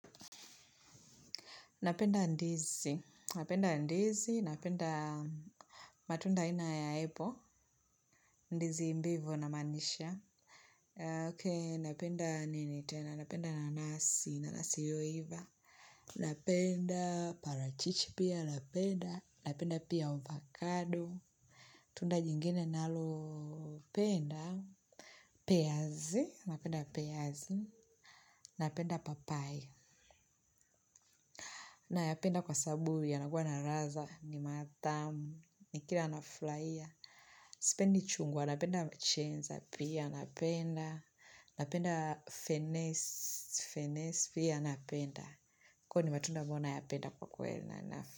Napenda ndizi, napenda ndizi, napenda matunda aina ya aple ndizi imbivo na maanisha. Ok, napenda nini tena, napenda nanasi, nanasi yoiva, napenda parachichi pia, napenda, napenda pia ovacado, tunda jingine nalo penda, peazi, napenda peazi, napenda papaya. Na ya penda kwasababu yanakuwa na raza, ni matamu, ni kila na fulahia. Sipendi chungwa, napenda mchenza pia, napenda, napenda fenezi, fenezi pia, napenda. Kwa ni matunda ambayo na yapenda kwa kweli nanasi.